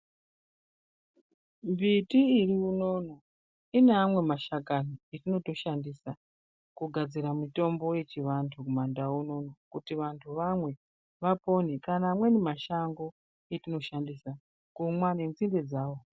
Mbiti iriunono ineamwe mashakani atinoto shandisa kugadzira mutombo yechivanhu mumandau unono kuti vantu vamwe vapone kana amweni mashango atino shandisa kumwa nenzinde dzawo.